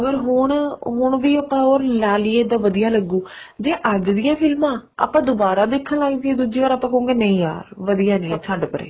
ਹੁਣ ਵੀ ਉਹ ਲੈਲਈਏ ਤਾਂ ਵਧੀਆ ਲੱਗੂ ਜੇ ਜਜ ਦੀਆਂ ਫ਼ਿਲਮਾ ਆਪਾਂ ਦੁਬਾਰਾ ਦੇਖਣ ਲੱਗ ਜਾਈਏ ਆਪਾਂ ਕਹਾਂਗੇ ਨਹੀਂ ਯਾਰ ਵਧੀਆ ਨੀ ਹੈ ਛੱਡ ਪਰੇ